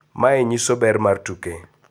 "Mae nyiso ber mar tuke.